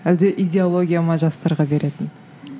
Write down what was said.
әлде идеология ма жастарға беретін